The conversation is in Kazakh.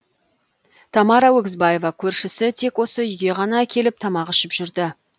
тамара өгізбаева көршісі тек осы үйге ғана келіп тамақ ішіп жүрді